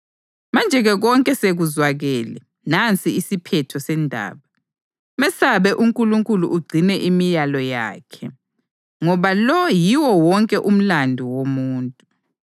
Manje-ke konke sekuzwakele; nansi isiphetho sendaba: Mesabe uNkulunkulu ugcine imiyalo yakhe, ngoba lo yiwo wonke umlandu womuntu.